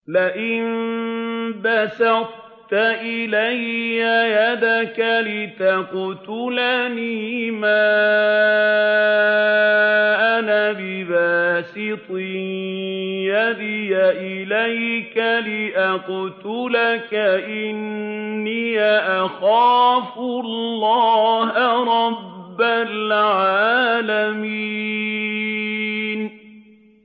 لَئِن بَسَطتَ إِلَيَّ يَدَكَ لِتَقْتُلَنِي مَا أَنَا بِبَاسِطٍ يَدِيَ إِلَيْكَ لِأَقْتُلَكَ ۖ إِنِّي أَخَافُ اللَّهَ رَبَّ الْعَالَمِينَ